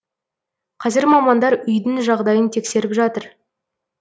қазір мамандар үйдің жағдайын тексеріп жатыр